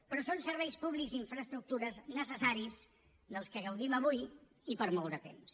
però són serveis públics i infraestructures necessaris de què gaudim avui i per molt de temps